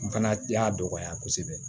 N fana y'a dɔgɔya kosɛbɛ